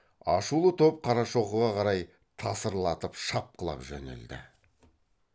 ашулы топ қарашоқыға қарай тасырлатып шапқылап жөнелді